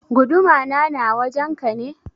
Guduma na na wajen ka ne?